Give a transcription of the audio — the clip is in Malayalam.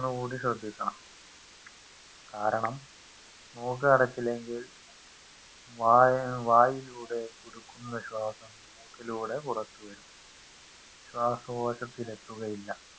കൂടി ശ്രെദ്ധിക്കണം കാരണം മൂക്കടച്ചില്ലെങ്കിൽ വായ വായിലൂടെ കൊടുക്കുന്ന ശ്വാസം മൂക്കിലൂടെ പുറത്തു വരും ശ്വാസകോശത്തിലെത്തുകയില്ല